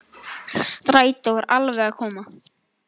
Strætó var alveg að koma.